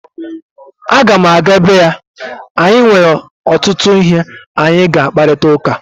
A ga'm-aga ebe ya anyị nwere ọtụtụ ihe anyị ga-akparịta ụka